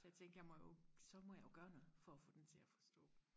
så jeg tænkte jeg må jo så må jeg jo gøre noget for og få den til og forstå